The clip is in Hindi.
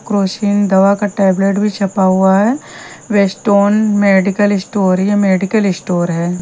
क्रोसिन दवा का टैबलेट भी छपा हुआ है वेस्टर्न मेडिकल स्टोर ये मेडिकल स्टोर है।